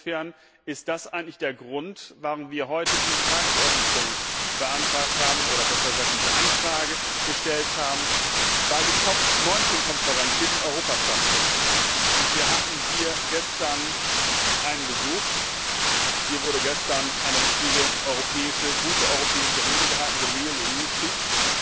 Insofern ist das eigentlich der Grund, warum wir heute diesen Tagungsordnungspunkt beantragt haben, oder besser gesagt, diese Anfrage gestellt haben. Denn die Konferenz COP 19 wird in Europa stattfinden, und wir hatten hier gestern einen Besuch, hier wurde gestern eine richtig gute europäische Rede gehalten, the real EU speech.